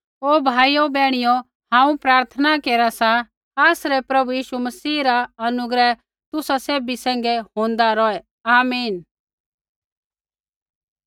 ओ भाइयो बैहणियो हांऊँ प्रार्थना केरा सा आसरै प्रभु यीशु मसीह रा अनुग्रह तुसा सैभी सैंघै होंदा रौहै आमीन